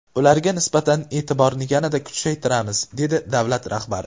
Ularga nisbatan e’tiborni yanada kuchaytiramiz”, dedi davlat rahbari.